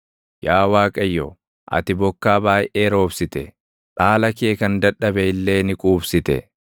Yaa Waaqayyo, ati bokkaa baayʼee roobsite; dhaala kee kan dadhabe illee ni quubsite.